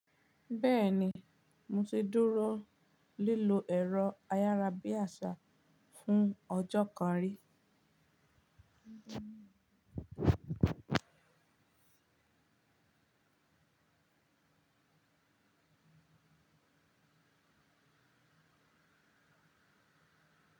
Bẹ́ẹ̀ni, mo ti dúró lílo ẹ̀rọ ayárabíàṣá fún ọjọ́ kan rí.